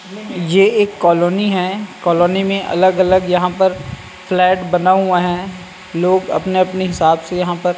यह एक कॉलोनी है कॉलोनी में अलग-अलग यहां पर फ्लैट बना हुआ है लोग अपने-अपने हिसाब से यहां पर --